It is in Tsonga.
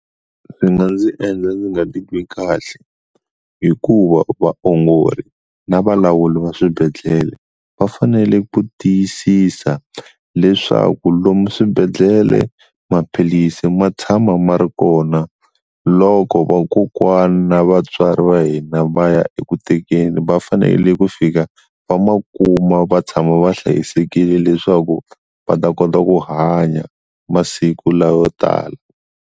Swi nga ndzi endla ndzi nga titwi kahle hikuva vaongori na valawuli va swibedhlele va fanele ku tiyisisa leswaku lomu swibedhlele maphilisi ma tshama ma ri kona loko vakokwana na vatswari va hina va ya eku tekeni va fanele ku fika va ma kuma va tshama va hlayisekile leswaku va ta kota ku hanya masiku lawo tala.